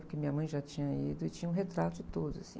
Porque minha mãe já tinha ido e tinha um retrato de todos, assim.